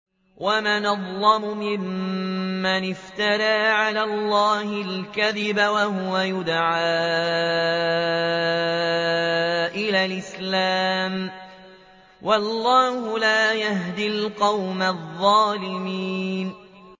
وَمَنْ أَظْلَمُ مِمَّنِ افْتَرَىٰ عَلَى اللَّهِ الْكَذِبَ وَهُوَ يُدْعَىٰ إِلَى الْإِسْلَامِ ۚ وَاللَّهُ لَا يَهْدِي الْقَوْمَ الظَّالِمِينَ